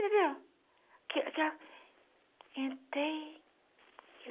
entendeu? Aquela, entrei, e